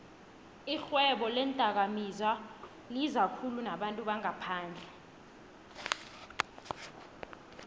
ixhwebo leendakamizwalizakhulu nabantu bangaphandle